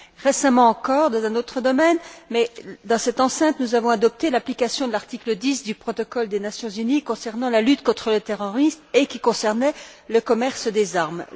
Récemment encore, dans un autre domaine, mais dans cette enceinte, nous avons adopté l'application de l'article 10 du protocole des Nations unies concernant la lutte contre le terrorisme, qui portait sur le commerce des armes.